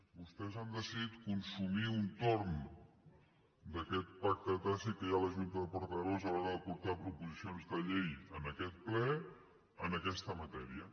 vostès han decidit consumir un torn d’aquest pacte tàcit que hi ha a la junta de portaveus a l’hora de portar proposicions de llei en aquest ple en aquesta matèria